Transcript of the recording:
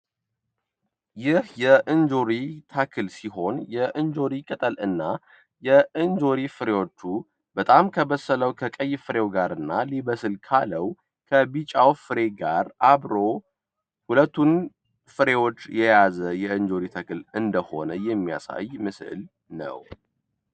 ይህ የእንጆይ ተክል ሲሆን፤ የእንጆሪ ቅጠል እና የእንጆሪ ፍሬዎቹ በጣም ከበሰለው ከቀይ ፍሬው ጋርና ሊበስል ካለው ከቢጫው ፍሬ ጋር አብሮ ሁለቱን ፍሬዎች የያዘ የእንጆይ ተክልን እንደሆነ የሚያሳይ ምስል ነው።